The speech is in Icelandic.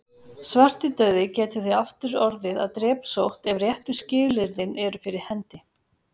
Svartidauði getur því aftur orðið að drepsótt ef réttu skilyrðin eru fyrir hendi.